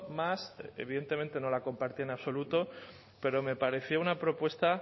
más evidentemente no la compartí en absoluto pero me pareció una propuesta